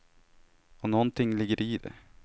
Och någonting ligger det i det.